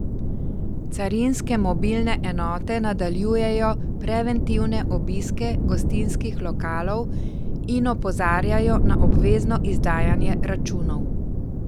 Carinske mobilne enote nadaljujejo preventivne obiske gostinskih lokalov in opozarjajo na obvezno izdajanje računov.